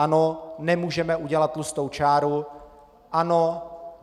Ano, nemůžeme udělat tlustou čáru, ano.